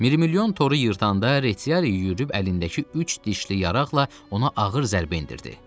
Mirmilyon toru yırtanda Reçiyari yüyürüb əlindəki üç dişli yaraqla ona ağır zərbə endirdi.